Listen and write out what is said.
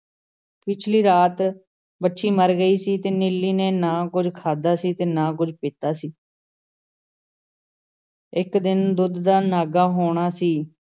ਪਿਛਲੀ ਰਾਤ ਵੱਛੀ ਮਰ ਗਈ ਸੀ ਤੇ ਨੀਲੀ ਨੇ ਨਾ ਕੁੱਝ ਖਾਧਾ ਸੀ ਨਾ ਕੁੱਝ ਪੀਤਾ ਸੀ । ਇੱਕ ਦਿਨ ਦੁੱਧ ਦਾ ਨਾਗਾ ਹੋਣਾ ਸੀ ।